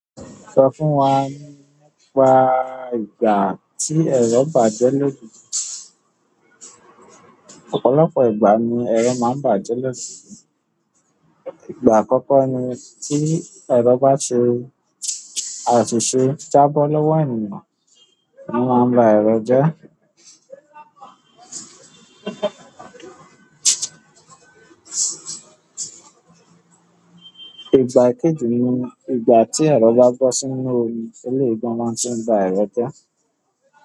Sọ fún wa nípa ìgbà tí ẹ̀rọ bàjẹ́ lójú. Ọ̀pọ̀lọpọ̀ ìgbà ni ẹ̀rọ máa ń bàjẹ́ losu. Ìgbà àkọ́kọ́ ni tí ẹ̀rọ bá ṣe àsiṣe jábọ́ lọ́wọ́ ènìyàn, o máa ń ba ẹ̀rọ jẹ. Ìgbà ekeeji ni ìgbà ti ero ba bo sínú omi, eleyi gan ma tun ba ero je.